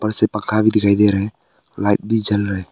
से पंखा भी दिखाई दे रहे है लाइट भी जल रहे है।